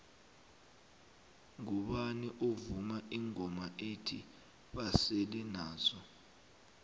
ngubani ovuma ingoma ethi basele nazo